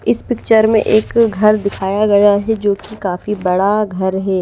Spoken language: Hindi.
इस पिक्चर मे एक घर दिखाया गया है जो की काफी बड़ा घर है।